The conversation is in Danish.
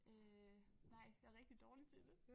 Øh nej jeg rigtig dårlig til det